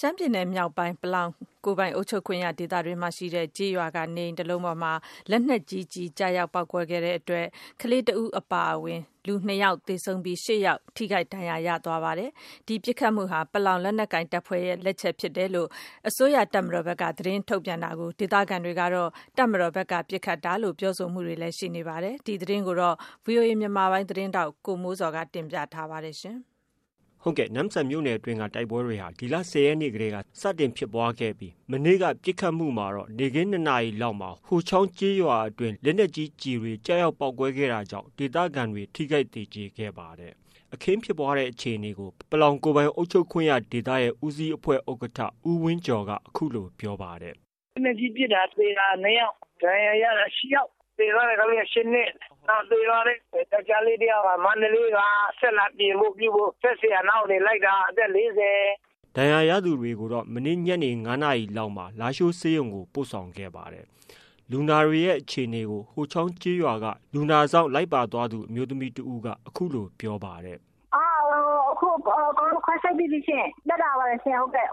ရှမ်းပြည်နယ်မြောက်ပိုင်း ပလောင်ကိုယ်ပိုင် အုပ်ချုပ်ခွင့်ရဒေသက ကျေးရွာ ရှိ နေအိမ်တလုံးပေါ်မှာ လက်နက်ကြီးကျည် ကျရောက် ပေါက်ကွဲခဲ့တာကြောင့် ကလေးငယ်တဦး အပါအဝင် လူ၂ယောက်သေဆုံးပြီး ၈ယောက် ထိခိုက်ဒဏ်ရာရ ခဲ့ပါတယ်။ ဒီပစ်ခတ်မှုမှာတော့ အစိုးရတပ်မတော်ဘက်က ပလောင်လက်နက်ကိုင် တပ်ဖွဲ့ကပစ်ခတ်တာဖြစ်ကြောင်း သတင်းထုတ်ပြန်ထားသလို ဒေသခံတွေကတော့ တပ်မတော်က ပစ်ခတ်တာလို့ ပြောဆိုတာတွေ ရှိနေပါတယ်။ ဒီသတင်းကိုတော့ ဗီအိုအေမြန်မာပိုင်းရဲ့သတင်းထောက် ကိုမိုးဇော်က တင်ပြထားပါတယ်။ နမ့်ဆန်မြို့နယ်အတွင်းက တိုက်ပွဲတွေဟာ ဒီလ ၁၀ရက်နေ့တည်းက စတင်ဖြစ်ပွားခဲ့တာဖြစ်ပြီး မနေ့က ပစ်ခတ်မှုမှာတော့ နေ့ခင်း ၂နာရီကျော်လောက်မှာ ဟိုချောင်းကျေးရွာအတွင်း လက်နက်ကြီးကျည် ကျရောက်ပေါက်ကွဲ တာကြောင့် ဒေသခံတွေ ထိခိုက်သေကျေခဲ့ပါတယ်။ အခင်းဖြစ်ပွားတဲ့အခြေအနေကို ပလောင်ကိုယ်ပိုင်အုပ်ချုပ်ခွင့်ရဒေသရဲ့ ဦးစီးအဖွဲ့ ဥက္ကဋ္ဌ ဦးဝင်းကျော်က အခုလို ပြောပါတယ်။ " လက်နက်ကြီးနဲ့ပစ်တာ သေတာ နှစ်ယောက်၊ ဒဏ်ရာရတာ ရှစ်ယောက်။ သေသွားတဲ့ ကလေးက ၈နှစ်။ နောက်သေသွားတဲ့ယောကျ်ားလေးက မန္တလေးက စက်လာတင်ဖို့ပြုဖို့ စက်ဆရာနောက်ကနေ လိုက်တာ အသက် ဒဏ်ရာရသူ တွေကို မနေ့ညနေ ၅နာရီလောက်မှာ လားရှိုးဆေးရုံကို ပို့ခဲ့ပါတယ်။ လူနာတွေရဲ့အခြေအနေကိုတော့ ဟိုနားရွာက လူနာစောင့်လိုက်ပါလာသူ အမျိုးသမီးတဦးက အခုလို ပြောပါတယ်။ "အကုန်ခွဲစိတ်ပြီးပြီရှင့်။ သက်သာပါတယ်ရှင့်။ ဗိုက်ထိ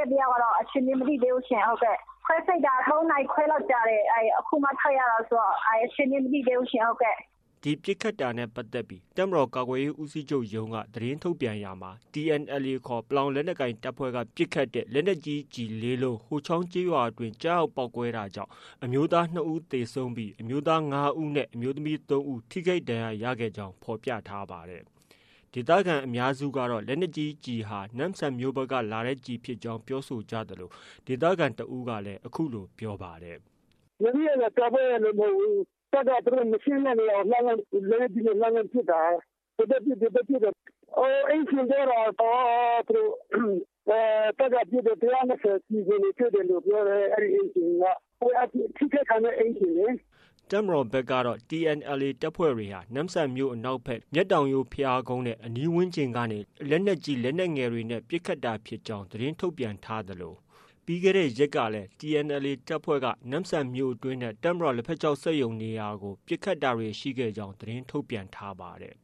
တဲ့တယောက်ကတော့ အခြေအနေ မသိသေးဘူးရှင့်။ ခွဲစိတ်တာ သုံးနာရီခွဲလောက်ကြာတယ်။ အခုမှ ထုတ်တာဆိုတော့ အခြေအနေ မသိသေးဘူးရှင့်။" ဒီပစ်ခတ်တာနဲ့ပတ်သက်ပြီး တပ်မတော် ကာကွယ်ရေး ဦးစီးချုပ်ရုံးက သတင်းထုတ်ပြန်ရာမှာ TNLAခေါ် ပလောင်လက်နက်ကိုင်တပ်ဖွဲ့က ပစ်ခတ်တဲ့ လက်နက်ကြီးကျည် ၄လုံး ဟိုချောင်းကျေးရွာတွင်းကျရောက်ပေါက်ကွဲတာကြောင့် အမျိုးသား ၂ဦးသေဆုံးပြီး အမျိုးသား၅ဦးနဲ့ အမျိုးသမီး၃ဦး ထိခိုက်ဒဏ်ရာရ ခဲ့ကြောင်း ဖော်ပြထားပါတယ်။ ဒေသခံအများစုကတော့ လက်နက်ကြီးကျည်ဟာ နမ့်ဆန်မြို့ဘက်က လာတဲ့ ကျည်ဖြစ်ကြောင်းပြောဆိုကြသလို ဒေသခံတဦးကတော့ အခုလို ပြောပါတယ်။ " တပ်ကနေ သူတို့မရှင်းတဲ့နေရာကို လက်နက်ကြီးနဲ့ လှမ်းလှမ်းပစ်တာ။ ဟိုဘက်ပစ်၊ ဒီဘက်ပစ်၊ တပ်ကပစ်တာ ၁၂၀ ကျည်တွေလို့ပြောတယ်။ ထိခိုက်ခံရတဲ့အိမ်ရှင်လေ။" တပ်မတော်ဘက်ကတော့ TNLA တပ်ဖွဲ့တွေက နမ့်ဆန်မြို့ အနောက်ဖက် မြတ်တောင်ရိုး ဘုရားကုန်းနဲ့ အနီးဝန်းကျင်ကနေ လက်နက်ကြီး၊ လက်နက်ငယ်တွေနဲ့ ပစ်ခတ်တာကြောင်းလို့ သတင်းထုတ်ပြန်ထားသလို ပြီးခဲ့တဲ့ ရက်ကလည်း TNLA တပ်ဖွဲ့က နမ့်ဆန်မြို့တွင်းနဲ့ တပ်မတော်လက်ဖက်ခြောက် စက်ရုံနေရာကို ပစ်ခတ်တာတွေရှိကြောင်းလည်း သတင်းထုတ်ပြန်ထားပါတယ်။